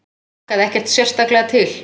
Hlakkaði ekkert sérstaklega til.